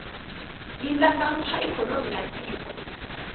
yi ndlandlamuxa ikhonomi ya tiko